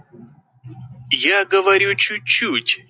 я говорю чуть-чуть